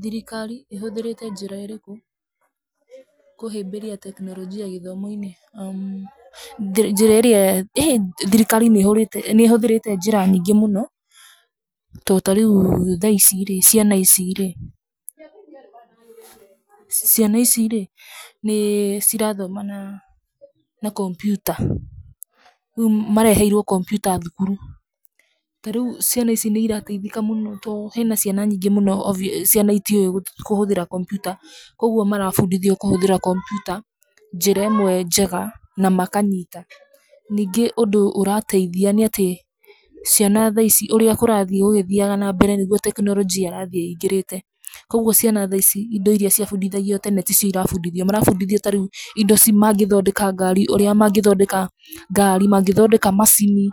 Thirikari ĩhũthĩrĩte njĩra irĩkũ kũhĩmbĩria tekinoronjĩ gĩthomo-inĩ? Thirikari nĩ ĩhũthĩrĩte njĩra nyingĩ mũno, to ta rĩu thaici rĩ, ciana ici rĩ, ciana ici rĩ, nĩ cirathoma na computer rĩu mareheirũo computer thukuru. Ta rĩu ciana ici nĩ cirateithĩka mũno tondũ hena ciana nyingĩ mũno itĩũĩ kũhũthira computer kogwo marambfundithio kũhũthĩra computer njĩra ĩmwe njega na makanyita nyingĩ ũndũ ũrateithia nĩ atĩ ciana thaici ũrĩa kũrathiĩ gũgĩthiaga na mbere ũria tekinoronji ĩrathiĩ ingĩrĩte, koguo ciana tha ici indo iria cia mbundithagio tene ti cio cira mbundithio. Mara mbundithio tha ici ũndũ mangĩthondeka ngari, mangĩthondeka macini,